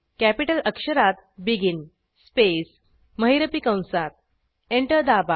capital अक्षरात begin space महिरपी कंसात एंटर दाबा